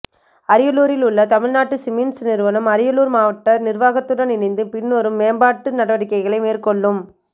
அரியலூரில் உள்ள தமிழ்நாடு சிமெண்ட்ஸ் நிறுவனம் அரியலூர் மாவட்ட நிர்வாகத்துடன் இணைந்து பின்வரும் மேம்பாட்டு நடவடிக்கைகளை மேற்கொள்ளும்